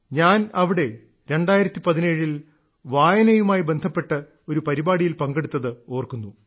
ഞാൻ അവിടെ 2017 ൽ വായനയുമായി ബന്ധപ്പെട്ട് ഒരു പരിപാടിയിൽ പങ്കെടുത്തത് ഓർക്കുന്നു